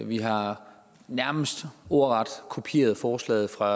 vi har nærmest ordret kopieret forslaget fra